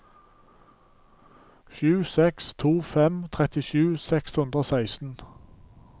sju seks to fem trettisju seks hundre og seksten